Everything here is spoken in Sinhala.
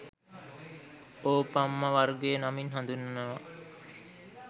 ඕපම්ම වර්ගය නමින් හඳුන්වනවා